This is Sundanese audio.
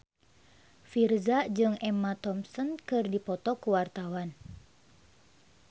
Virzha jeung Emma Thompson keur dipoto ku wartawan